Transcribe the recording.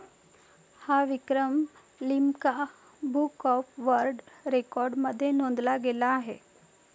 हा विक्रम 'Limca book of world record' मध्ये नोंदला गेला आहे.